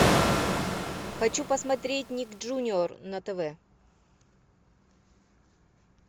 хочу посмотреть ник джуниор на тв